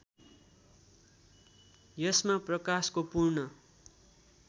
यसमा प्रकाशको पूर्ण